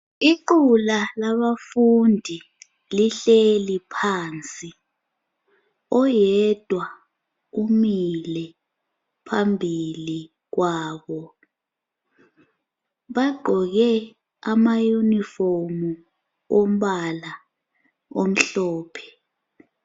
Iqula laba fundi lihleli phansi, oyedwa umile phambili kwabo. Bagqoke ama uniform ombala omhlophe.